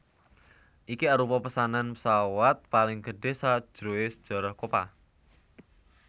Iki arupa pesanan pesawat paling gedhe sajroe sejarah Copa